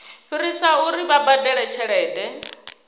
fhirisa uri vha badele tshelede